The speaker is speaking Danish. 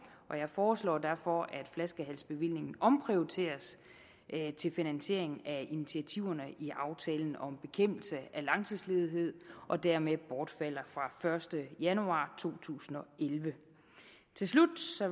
og jeg foreslår derfor at flaskehalsbevillingen omprioriteres til finansiering af initiativerne i aftalen om bekæmpelse af langtidsledighed og dermed bortfalder fra første januar to tusind og elleve til slut